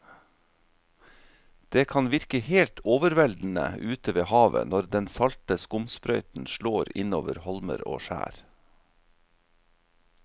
Det kan virke helt overveldende ute ved havet når den salte skumsprøyten slår innover holmer og skjær.